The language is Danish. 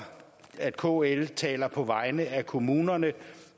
at kl taler på vegne af kommunerne